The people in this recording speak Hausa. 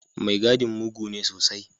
Mai gadin mugu ne sosai.